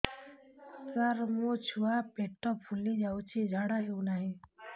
ସାର ମୋ ଛୁଆ ପେଟ ଫୁଲି ଯାଉଛି ଝାଡ଼ା ହେଉନାହିଁ